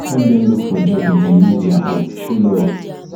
help help dem look for job if dem lose dia own show love